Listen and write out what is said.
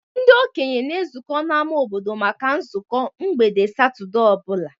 Ndị okenye na-ezukọ n'ámá obodo maka nzukọ mgbede Satọde ọ bụla.